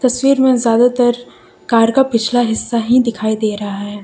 तस्वीर में ज्यादातर कार का पिछला हिस्सा ही दिखाई दे रहा है।